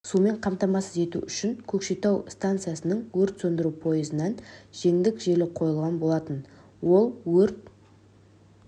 сумен қамтамасыз ету үшін көкшетау станциясының өрт сөндіру пойызынан жеңдік желі қойылған болатын ол өрт